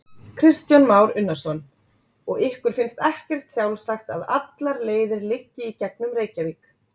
Kristján Már Unnarsson: Og ykkur finnst ekkert sjálfsagt að allar leiðir liggi í gegnum Reykjavík?